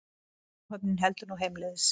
Áhöfnin heldur nú heimleiðis